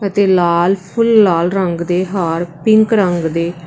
ਤੇ ਲਾਲ ਫੁੱਲ ਲਾਲ ਰੰਗ ਦੇ ਹਾਰ ਪਿੰਕ ਰੰਗ ਦੇ --